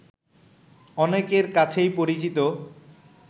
অনেকের কাছেই পরিচিত